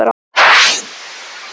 Þetta voru Ljóð úr